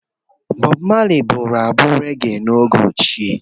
Bọb Mali bụrụ abụ rege n’oge ochie.